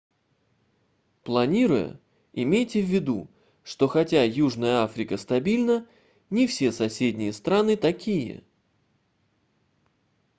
планируя имейте ввиду что хотя южная африка стабильна не все соседние страны такие